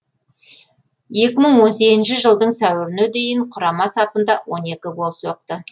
екі мың он сегізінші жылдың сәуіріне дейін құрама сапында он екі гол соқты